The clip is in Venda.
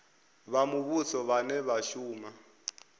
vha muvhuso vhane vha shuma